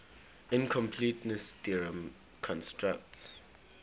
incompleteness theorem constructs